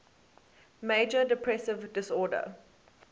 major depressive disorder